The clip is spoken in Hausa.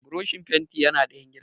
Burushin fentin yana ɗayan gidan